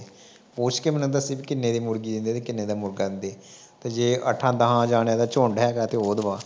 ਪੁੱਛ ਕੇ ਮੈਨੂੰ ਦੱਸੀ ਕਿੇਨੇ ਦੀ ਮੁਰਗੀ ਦਿੰਦੇ ਸੀ ਤੇ ਕਿੇਨੇ ਦਾ ਮੁਰਗਾ ਦਿੰਦੇ ਆ ਜੇ ਅੱਠਾਂ ਤਾਹਾਂ ਜਾਣਿਆਂ ਦਾ ਝੁੰਡ ਹੈਗਾ ਤੇ ਉਹ ਦਵਾ।